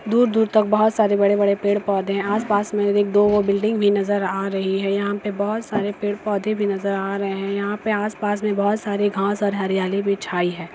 दूर-दूर तक बहोत सारे बड़े-बड़े पेड़ पौधे हैंआस पास में एक दो बिल्डिंग भी नजर आ रही है यहाँ पे बहोत सारे पेड़ -पौधे भी नजर आ रहे हैं यहाँ पे आस पास में बहुत सारे घास और हरियाली भी छाई है।